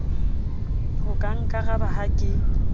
o ka nkaraba ha ke